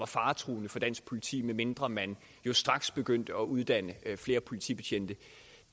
faretruende for dansk politi medmindre man straks begyndte at uddanne flere politibetjente